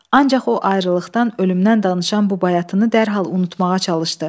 Ancaq o ayrılıqdan, ölümdən danışan bu bayatını dərhal unutmağa çalışdı.